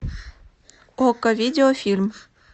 окко видеофильм